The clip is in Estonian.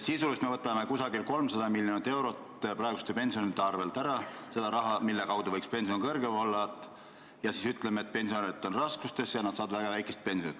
Sisuliselt me võtame umbes 300 miljonit eurot praeguste pensionäride arvelt ära – selle raha abil saaks pension kõrgem olla – ning siis ütleme, et pensionärid on raskustes ja saavad väga väikest pensioni.